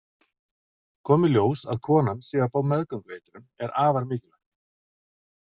Komi í ljós að konan sé að fá meðgöngueitrun er afar mikilvægt.